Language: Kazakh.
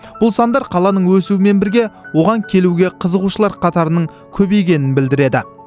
бұл сандар қаланың өсуімен бірге оған келуге қызығушылар қатарының көбейгенін білдіреді